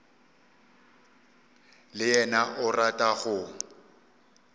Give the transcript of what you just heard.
le yena o rata go